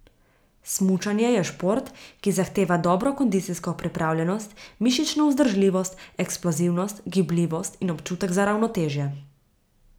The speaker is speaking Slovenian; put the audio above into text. Smučanje je šport, ki zahteva dobro kondicijsko pripravljenost, mišično vzdržljivost, eksplozivnost, gibljivost in občutek za ravnotežje.